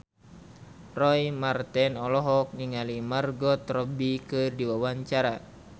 Roy Marten olohok ningali Margot Robbie keur diwawancara